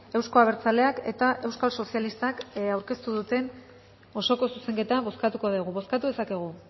euzko abertzaleak eta euskal sozialistak aurkeztu duten osoko zuzenketa bozkatuko dugu bozkatu dezakegu